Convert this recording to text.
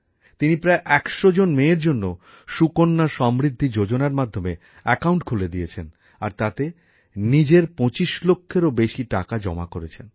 তিনি প্রায় ১০০ জন মেয়ের জন্য সুকন্যা সমৃদ্ধি যোজনার মাধ্যমে অ্যাকাউন্ট খুলে দিয়েছেন আর তাতে নিজের ২৫ লক্ষেরও বেশি টাকা জমা করেছেন